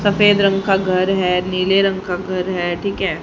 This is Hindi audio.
सफेद रंग का घर है नीले रंग का घर है ठीक है।